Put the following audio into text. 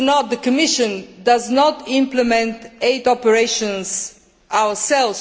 The Commission does not implement aid operations itself.